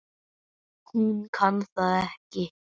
Hún kann það ekki.